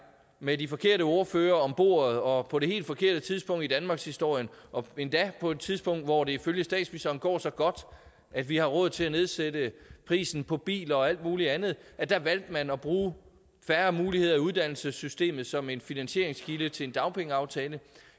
med de forkerte ordførere bordet og på det helt forkerte tidspunkt i danmarkshistorien og endda på et tidspunkt hvor det ifølge statsministeren går så godt at vi har råd til at nedsætte prisen på biler og alt mulig andet valgte at bruge færre muligheder i uddannelsessystemet som en finansieringskilde til en dagpengeaftale